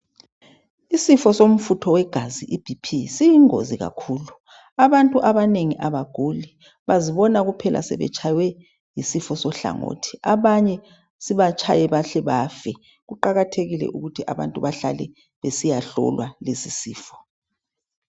Isifo somfutho wegazi iBP siyingozi kakhulu abantu abaguli bazibona kuphela sebetshaywe yisifo sohlangothi sibatshaye bahle bafe kuqakathekile ukuthi abantu behlale besiyahlolwa lesisifo